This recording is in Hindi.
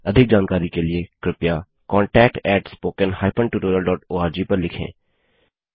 अधिक जानकारी के लिए कृपया contactspoken tutorialorg पर लिखें